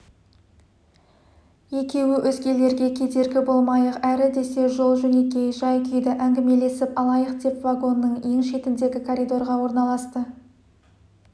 екеуі өзгелерге кедергі болмайық әрі десе жол-жөнекей жай күйді әңгімелесіп алайық деп вагонның ең шетіндегі коридорға орналасты